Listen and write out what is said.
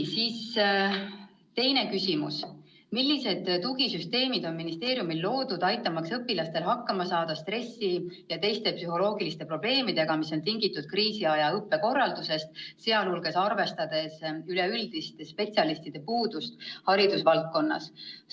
Teine küsimus: "Millised tugisüsteemid on ministeeriumil loodud, aitamaks õpilastel hakkama saada stressi ja teiste psühholoogiliste probleemidega, mis on tingitud kriisiaja õppekorraldusest, sealhulgas arvestades üleüldist spetsialistide puudust haridusvaldkonnas?